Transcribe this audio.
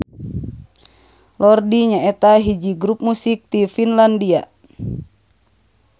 Lordi nyaeta hiji grup musik ti Finlandia.